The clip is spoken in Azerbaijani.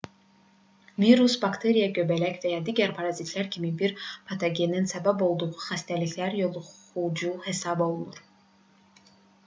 virus bakteriya göbələk və ya digər parazitlər kimi bir patogenin səbəb olduğu xəstəliklər yoluxucu hesab olunur